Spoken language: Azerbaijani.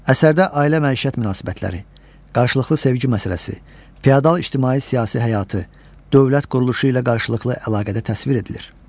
Əsərdə ailə-məişət münasibətləri, qarşılıqlı sevgi məsələsi, feodal ictimai-siyasi həyatı, dövlət quruluşu ilə qarşılıqlı əlaqədə təsvir edilir.